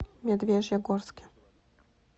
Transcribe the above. медвежьегорске